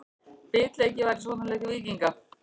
Bitleysi var í sóknarleik Víkinga.